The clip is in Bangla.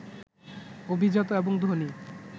অভিজাত এবং ধনী